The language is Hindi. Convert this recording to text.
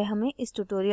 अधिक जानकारी